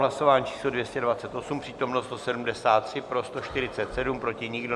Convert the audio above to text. Hlasování číslo 228, přítomno 173, pro 147, proti nikdo.